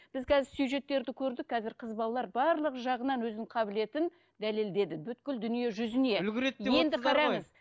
біз қазір сюжеттерді көрдік қазір қыз балалар барлық жағынан өзінің қабілетін дәлелдеді дүние жүзіне